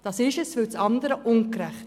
Das andere war ungerecht.